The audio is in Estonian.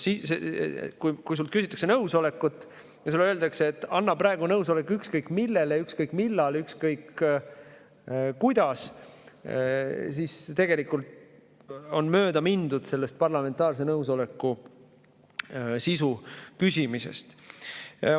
Kui sult küsitakse nõusolekut ja sulle öeldakse, et anna praegu nõusolek ükskõik millele, ükskõik millal ja ükskõik kuidas, siis tegelikult on mööda mindud parlamentaarse nõusoleku küsimise sisust.